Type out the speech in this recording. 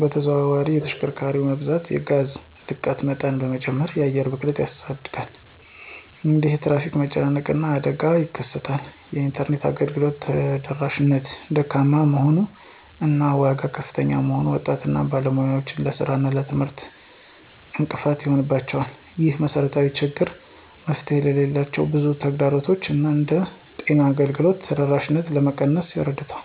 በተዘዋዋሪ የተሽከርካሪ መብዛት የጋዝ ልቀት መጠን በመጨመር የአየር ብክለትን ያሳድጋል። እንዲሁም የትራፊክ መጨናነቅ እና አደጋ ይከሰታል። የኢንተርኔት አገልግሎት ተደራሽነት ደካማ መሆን እና ዋጋው ከፍተኛ መሆኑን ወጣቶች እና ባለሙያዎች ለሥራ እና ለትምህርት እንቅፋት ይሆንባቸዋል። ይህንን መሰረታዊ ችግር መፍታት ሌሎች ብዙ ተግዳሮቶችን እንደ ጤና አገልግሎት ተደራሽነት ለመቀነስ ይረዳል።